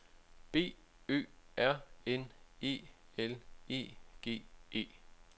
B Ø R N E L E G E